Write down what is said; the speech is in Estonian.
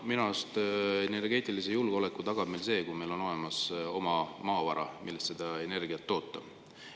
Minu arust on energeetilise julgeoleku tagamine see, kui meil on olemas oma maavara, millest seda energiat toota.